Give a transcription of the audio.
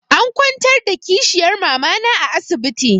An kwantar da kishiyar mamana a asibiti.